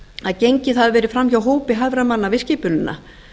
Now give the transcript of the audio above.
að gengið hafi verið framhjá hópi hæfra manna við skipunina